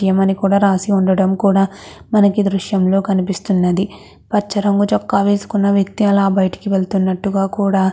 రాసి వుండటం కూడా మనకి ఈ దృశ్యంలో కనిపిస్తునది. పచ రంగు వేసుకున్న వెక్తి కూడా అట్లా బయటికి వేల్ల్తుతునాటు కుడా --